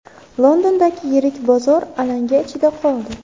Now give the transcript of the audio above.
Londondagi yirik bozor alanga ichida qoldi.